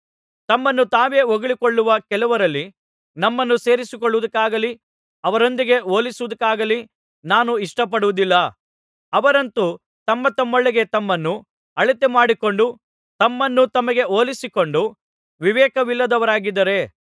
ತಮ್ಮನ್ನು ತಾವೇ ಹೊಗಳಿಕೊಳ್ಳುವ ಕೆಲವರಲ್ಲಿ ನಮ್ಮನ್ನು ಸೇರಿಸಿಕೊಳ್ಳುವುದಕ್ಕಾಗಲಿ ಅವರೊಂದಿಗೆ ಹೋಲಿಸುವುದಕ್ಕಾಗಲಿ ನಾನು ಇಷ್ಟಪಡುವುದಿಲ್ಲ ಅವರಂತೂ ತಮ್ಮತಮ್ಮೊಳಗೆ ತಮ್ಮನ್ನು ಅಳತೆಮಾಡಿಕೊಂಡು ತಮ್ಮನ್ನು ತಮಗೇ ಹೋಲಿಸಿಕೊಂಡು ವಿವೇಕವಿಲ್ಲದವರಾಗಿದ್ದಾರೆ